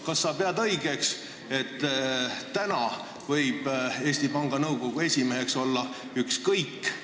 Kas sa pead õigeks, et praegu võib Eesti Panga Nõukogu esimeheks olla ükskõik kes?